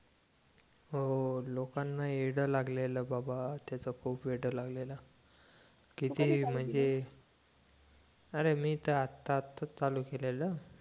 हो हो लोकांना येडं लागलेलं बाबा त्याच खूप येडं लागलेलं किती म्हणजे अरे मी तर आता आताच चालू केलेलं